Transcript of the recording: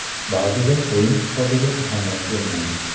Ba’zida o‘yin hisobiga ahamiyat bermayman.